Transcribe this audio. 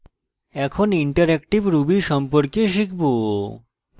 এখন interactive ruby সম্পর্কে শিখব